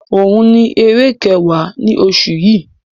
Òun ni eré kẹwa ni oṣù yi.